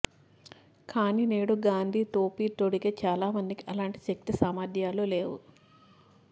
కాని నేడు గాంధీ టోపీ తొడిగే చాలామందికి అలాంటి శక్తిసామర్థ్యాలు లేవు